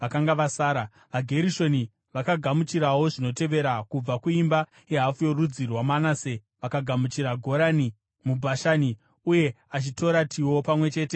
VaGerishoni vakagamuchirawo zvinotevera: Kubva kuimba yehafu yorudzi rwaManase vakagamuchira Gorani muBhashani neAshitarotiwo pamwe chete namafuro awo;